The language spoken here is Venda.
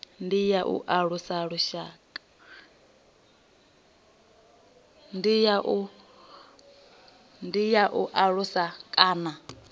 ndi ya u alusa kana